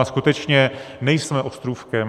A skutečně nejsme ostrůvkem.